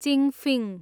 चिङफिङ